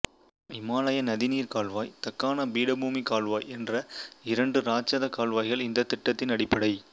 இமாலய நதிநீர் கால்வாய் தக்காண பீடபூமிக் கால்வாய் என்ற இரண்டு ராட்சதக் கால்வாய்கள் இந்தத் திட்டத்தின் அடிப்படை